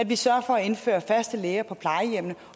vi sørger for at indføre faste læger på plejehjemmene